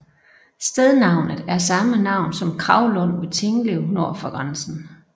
Stednavnet er samme navn som Kravlund ved Tinglev nord for grænsen